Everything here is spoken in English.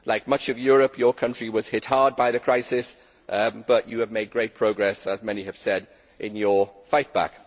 Like much of Europe, your country was hit hard by the crisis but you have made great progress, as many have said, in your fight back.